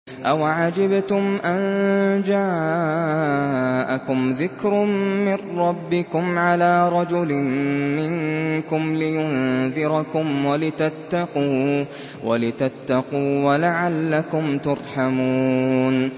أَوَعَجِبْتُمْ أَن جَاءَكُمْ ذِكْرٌ مِّن رَّبِّكُمْ عَلَىٰ رَجُلٍ مِّنكُمْ لِيُنذِرَكُمْ وَلِتَتَّقُوا وَلَعَلَّكُمْ تُرْحَمُونَ